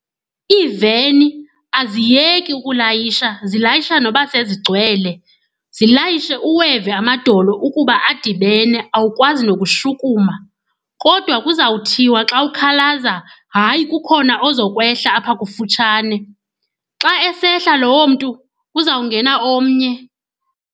Iiveni aziyeki ukulayisha, zilayisha noba sezigcwele. Zilayishe uweve amadolo ukuba adibene, awukwazi nokushukuma kodwa kuzawuthiwa xa ukhalaza, hayi kukhona ozakwehla apha kufutshane. Xa esehla lowo mntu, kuzawungena omnye.